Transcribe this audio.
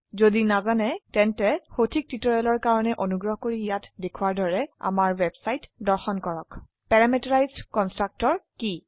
যদি নাজানে তেন্তে সঠিক টিউটৰিয়েলৰ কাৰনে অনুগ্ৰহ কৰি ইয়াত দেখোৱাৰ দৰে আমাৰ ৱেবছাইট দৰ্শন কৰক httpwwwspoken tutorialঅৰ্গ পেৰামিটাৰাইজড কনষ্ট্ৰাক্টৰ কি